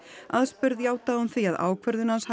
aðspurð játaði hún því að ákvörðun Gunnars